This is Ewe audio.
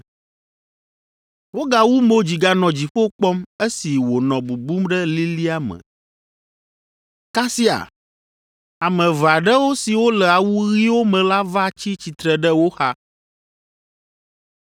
Wogawu mo dzi ganɔ dziƒo kpɔm esi wònɔ bubum ɖe lilia me. Kasia ame eve aɖewo siwo le awu ɣiwo me la va tsi tsitre ɖe wo xa.